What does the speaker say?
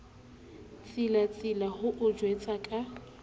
tsilatsila ho o jwetsa ka